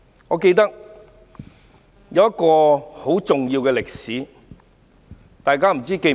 我記得一段很重要的歷史。